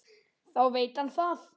Þá veit hann það!